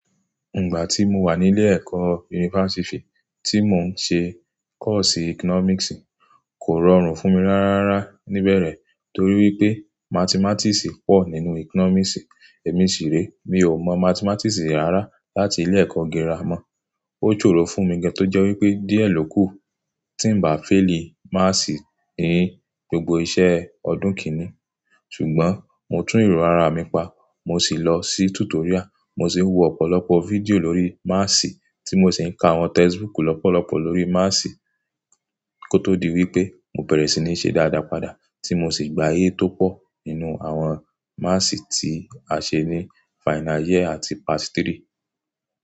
Ìgbà tí mo wà nílé ẹ̀kọ́ yunifásítì tí mo ń ṣe kọ́ọ̀sì economics kò rọrùn fún mi ráráárá níbẹ̀rẹ̀ torí wípé mathematics pọ̀ nínú economics. Èmi ṣì rèé, mi ò mọ mathematics rárá láti ilé ẹ̀kọ́ gírámà. Ó ṣòro fún mi gan tó jẹ́ wípé díẹ̀ ló kù tí ń ba faili maths ní gbogbo iṣẹ́ ọdún kìíní. Ṣùgbọ́n mo tún èèro ara mi pa, mo sì lọ sí tutorial, mo sì wo ọ̀pọ̀lọpọ̀ fídíò lórí maths tí mo sì ń ka àwọn textbook lọ́pọ̀lọpọ̀ lórí maths kó tó di wípé mo bẹ̀rẹ̀ sí ní ṣe dáadáa padà tí mo sì gba A tó pọ̀ nínú àwọn maths tí a ṣe ní final year àti part three.